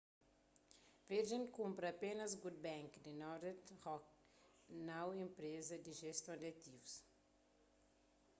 virgin kunpra apénas good bank ” di northern rock nau enpreza di jeston di ativus